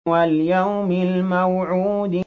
وَالْيَوْمِ الْمَوْعُودِ